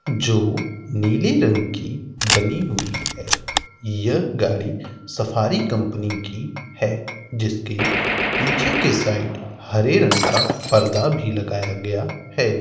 जो नीले रंग की बनी हुई है। यह गाडी सफारी कंपनी की है जिसके पीछे के साइड हरे रंग का पर्दा भी लगाया गया है।